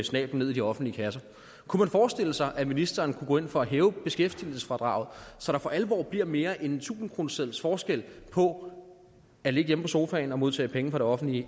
snabelen ned i de offentlige kasser kunne man forestille sig at ministeren kunne gå ind for at hæve beskæftigelsesfradraget så der for alvor bliver mere end en tusindkroneseddels forskel på at ligge hjemme på sofaen og modtage penge fra det offentlige